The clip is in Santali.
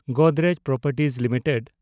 Godrej properties limited